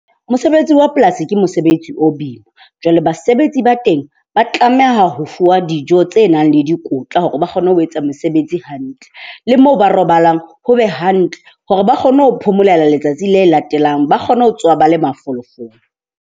Mosebetsi wa polasi ke mosebetsi o boima. Jwale basebetsi ba teng ba tlameha ho fuwa dijo tse nang le dikotla hore ba kgone ho etsa mosebetsi hantle. Le moo ba robalang ho be hantle hore ba kgone ho phomolela letsatsi le latelang, ba kgone ho tsoha ba le mafolofolo.